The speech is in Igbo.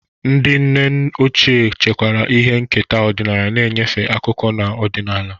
Ndị nne ochie chekwara ihe nketa ọdịnala, na-enyefe akụkọ na ọdịnala.